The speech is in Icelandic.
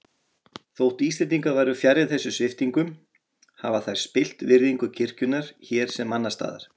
Þótt Íslendingar væru fjarri þessum sviptingum hafa þær spillt virðingu kirkjunnar hér sem annars staðar.